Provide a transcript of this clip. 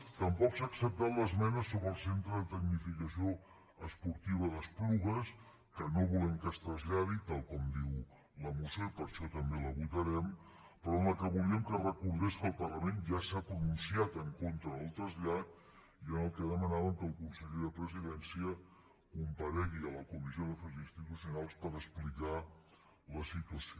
tampoc s’ha acceptat l’esmena sobre el centre de tecnificació esportiva d’esplugues que no volem que es traslladi tal com diu la moció i per això també la votarem però amb la qual volíem que es recordés que el parlament ja s’ha pronunciat en contra del trasllat i en la qual demanàvem que el conseller de la presidència comparegui a la comissió d’afers institucionals per explicar la situació